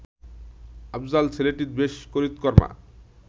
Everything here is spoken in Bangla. আফজাল ছেলেটি বেশ করিতকর্মা